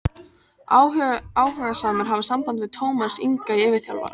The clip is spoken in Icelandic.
Áhugasamir hafi samband við Tómas Inga yfirþjálfara.